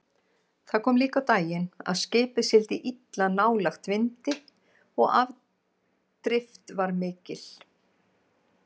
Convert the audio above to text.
Það kom líka á daginn að skipið sigldi illa nálægt vindi og afdrift var mikil.